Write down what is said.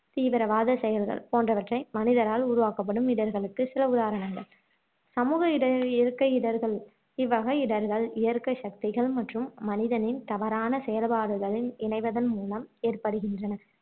தீவிரவாத செயல்கள் போன்றவற்றை மனிதனால் உருவாக்கப்படும் இடர்களுக்கு சில உதாரணங்கள் சமூக இடற் இயற்கை இடர்கள் இவ்வகை இடர்கள் இயற்கைச் சக்திகள் மற்றும் மனிதனின் தவறான செயல்பாடுகளின் இணைவதன் மூலம் ஏற்படுகின்றன